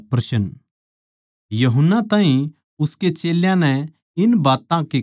यूहन्ना ताहीं उसके चेल्यां नै इन बात्तां की खबर दी